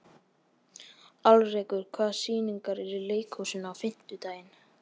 Alrekur, hvaða sýningar eru í leikhúsinu á fimmtudaginn?